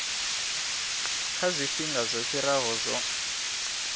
kha zwifhinga zwo fhiraho zwo